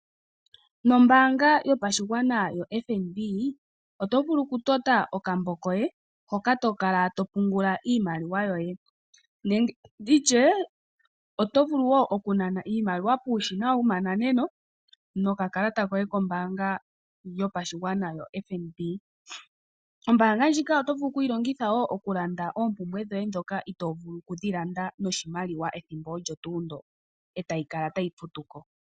Nombaanga yopashigwana yo FNB. Otovulu okuninga okambo koye hoka tokalatopungulaiimaliwayoye. Otovulu woo okunana iimaliwa yoye puushina wokukuthako no kakalata koye kombaanga yopashigwana ya FNB. Ombaanga ndjika otovulu oku yilongitha oku landa oompumbwe dhoye ndhoka ito vulu okudhilanda noshimaliwa pethimbo mpoka e tayi kala tayi futu ko.